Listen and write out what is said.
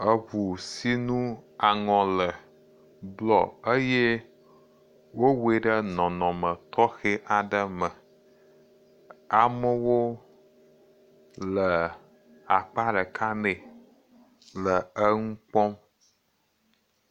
Eŋu si ŋu aŋɔ le blɔ, wowɔe ɖe nɔnɔme tɔxɛ aɖe me, amewo le aƒea ɖeka mee le nu kpɔm.